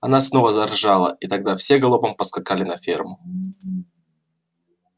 она снова заржала и тогда все галопом поскакали на ферму